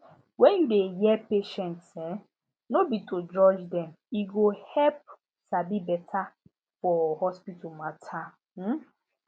when you dey hear patients um no be to judge dem e go help sabi beta for hospital matter um